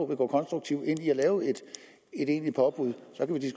vil gå konstruktivt ind i at lave et egentligt påbud